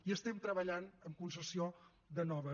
i estem treballant en concessió de noves